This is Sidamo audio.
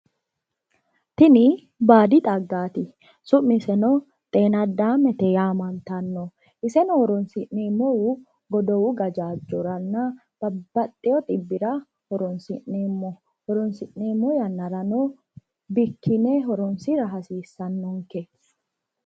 tini baadi xaggaati. summiseno xeena addaame yaamantano iseno horonsi'neemohu godowu gajaajjoranna babaxewo xibbira horonsi'neemmo horonsi'neemmo yannarano bikkine horonsira hasiissannonke .